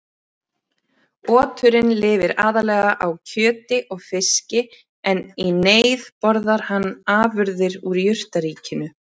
Oturinn lifir aðallega á kjöti og fiski en í neyð borðar hann afurðir úr jurtaríkinu.